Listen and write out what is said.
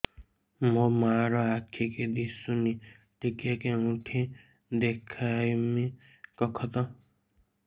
ମୋ ମା ର ଆଖି କି ଦିସୁନି ଟିକେ କେଉଁଠି ଦେଖେଇମି କଖତ